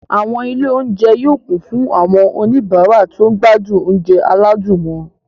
Àwọn ilé-oúnjẹ yóò kún fún àwọn oníbàárà tó ń gbádùn oúnjẹ aládùn wọn.